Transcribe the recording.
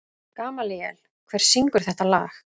Gamalíel, hver syngur þetta lag?